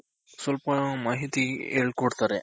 ಸ್ವಲ್ಪ ಮಾಹಿತಿ ಹೇಳ್ಕೊಡ್ತಾರೆ.